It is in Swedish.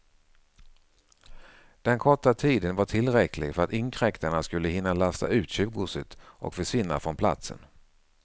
Den korta tiden var tillräcklig för att inkräktarna skulle hinna lasta ut tjuvgodset och försvinna från platsen.